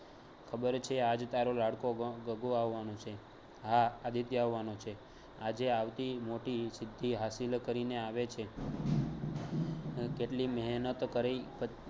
ખબર છે આજ તારો લાડકો ગગો આવાનો છે હા આદિત્ય આવવાનો છે આજે આવતી મોટી સિદ્ધિ હાસિલ કરીને આવે છે કેટલી મેહનત કરઈ